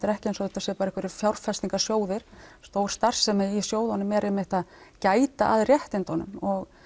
er ekki eins og þetta séu bara einhverjir fjárfestingarsjóðir stór starfsemi í sjóðunum er einmitt að gæta að réttindunum og